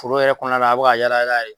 Foro yɛrɛ kɔɔna la a' bɛ ka yaala yaala ye